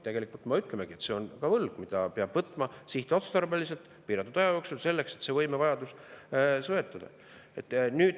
Tegelikult me ütlemegi, et see on ka võlg, mida peab võtma sihtotstarbeliselt, piiratud aja jooksul, selleks et see võimevajadus.